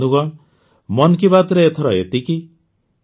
ବନ୍ଧୁଗଣ ମନ୍ କି ବାତ୍ରେ ଏଥର ଏତିକି